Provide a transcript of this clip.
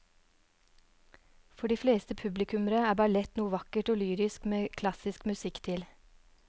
For de fleste publikummere er ballett noe vakkert og lyrisk med klassisk musikk til.